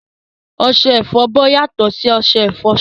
Ọṣẹ ìfọbọ́ yàtọ̀ sí ọṣẹ ìfọṣọ